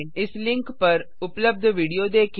इस लिंक पर उपलब्ध विडियो देखें